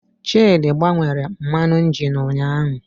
Chidị gbanwere mmanụ injin ụnyahụ